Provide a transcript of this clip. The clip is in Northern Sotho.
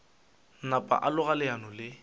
napa a loga leano le